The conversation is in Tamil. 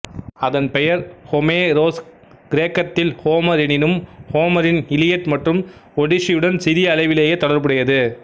அதன் பெயர் ஒமேரோஸ்கிரேக்கத்தில் ஓமர் எனினும் ஓமரின் இலியட் மற்றும் ஒடிசியுடன் சிறிய அளவிலேயே தொடர்புடையது